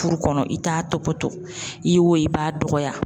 Furu kɔnɔ i t'a tɔbɔtɔ, i ye o ye i b'a dɔgɔya.